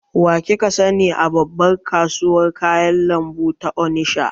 Wa kika sani a babbar kasuwar kayan lambu ta onisha?